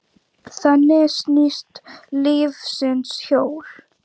Þannig snýst lífsins hjól.